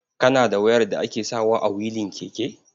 Kana da wayar da ake sawa a wilin keke?